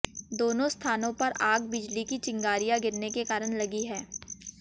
दोनो स्थानों पर आग बिजली की चिंगारियां गिरने के कारण लगी है